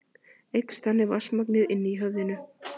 Eykst þannig vatnsmagnið inni í höfðinu.